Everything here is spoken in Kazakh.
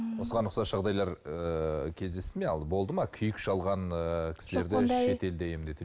м осыған ұқсас жағдайлар ыыы кездесті ме болды ма күйік шалған ыыы кісілерді шетелде емдету